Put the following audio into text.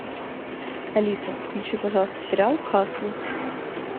алиса включи пожалуйста сериал касл